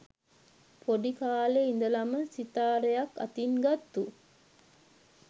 පොඩි කාලෙ ඉඳලම සිතාරයක් අතින් ගත්තු